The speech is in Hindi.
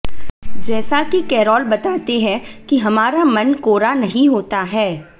जैसा कि केरोल बताते हैं कि हमारा मन कोरा नहीं होता है